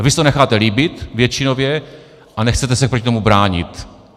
A vy si to necháte líbit většinově a nechcete se proti tomu bránit.